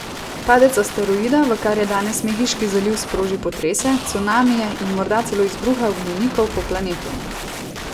Padec asteroida v kar je danes Mehiški zaliv sproži potrese, cunamije in morda celo izbruhe ognjenikov po planetu.